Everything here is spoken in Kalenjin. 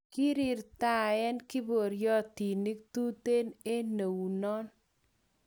Kirirtaen kiporyotinik tuten eng neunon .